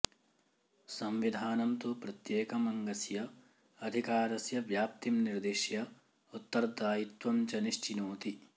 संविधानं तु प्रत्येकम् अङ्गस्य अधिकारस्य व्याप्तिं निर्दिश्य उत्तरदायित्वं च निश्चिनोति